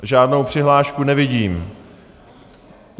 Žádnou přihlášku nevidím.